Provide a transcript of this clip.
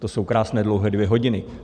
To jsou krásné dlouhé dvě hodiny.